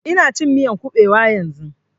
Ina cin miyan ƙubewa yanzun